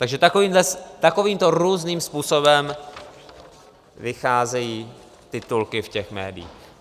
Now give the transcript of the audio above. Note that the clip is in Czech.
Takže takovýmto různým způsobem vycházejí titulky v těch médiích.